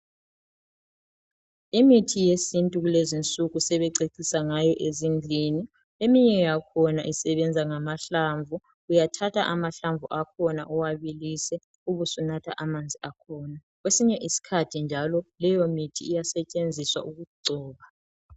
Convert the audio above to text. Imithi yesintu kulezi insuku sebececisa ngayo ezindlini eminye yakhona isebenza ngamahlamvu. Uyathatha amahlamvu akhona uwabilise ubusunatha amanzi akhona. Kwesinye isikhathi njalo leyo mithi iyasetshenziswa ukugcoba .